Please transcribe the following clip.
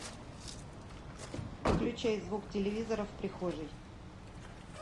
выключай звук телевизора в прихожей